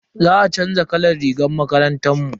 Za a chanza kalan rigar makarantar mu.